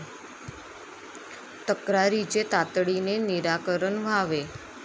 तक्रारींचे तातडीने निराकरण व्हावे.